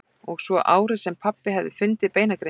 Og svo árið sem pabbi hafði fundið beinagrindina.